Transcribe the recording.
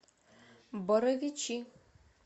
боровичи